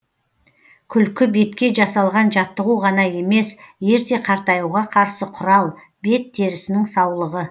күлкі бетке жасалған жаттығу ғана емес ерте қартаюға қарсы құрал бет терісінің саулығы